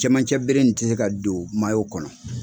Cɛmancɛ bere in tɛ se ka don kɔnɔ.